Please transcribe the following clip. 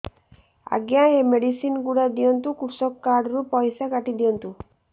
ଆଜ୍ଞା ଏ ମେଡିସିନ ଗୁଡା ଦିଅନ୍ତୁ କୃଷକ କାର୍ଡ ରୁ ପଇସା କାଟିଦିଅନ୍ତୁ